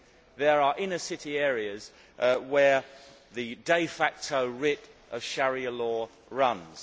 There are inner city areas where the de facto writ of Sharia law runs.